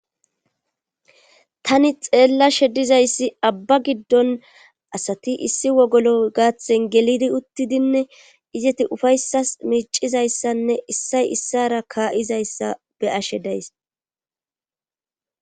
Tani xeella shedizayssi abba giddon asati issi wogolo gaaththen gelidi uttidinne izeti ufayssas miicizayssanne issay issara kaa7izayssa beyashe days.